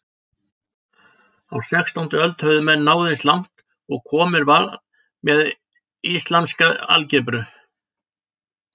Á sextándu öld höfðu menn náð eins langt og komist varð með islamska algebru.